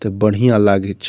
ते बढ़िया लागी छे।